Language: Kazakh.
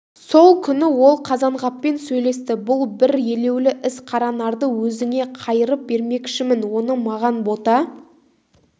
сол күні ол қазанғаппен сөйлесті бұл бір елеулі іс қаранарды өзіңе қайырып бермекшімін оны маған бота